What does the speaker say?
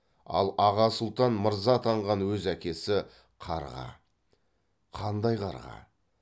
ал аға сұлтан мырза атанған өз әкесі қарға қандай қарға